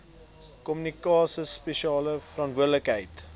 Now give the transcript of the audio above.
kommissaris spesiale verantwoordelikheid